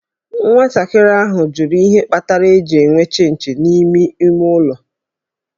Nwatakịrị nwanyị ahụ jụrụ ihe kpatara e ji enwe Chịnchị n'ime ime ụlọ